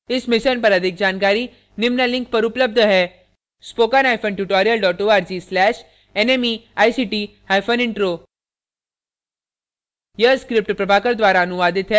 इस mission पर अधिक जानकारी निम्न लिंक पर उपलब्ध है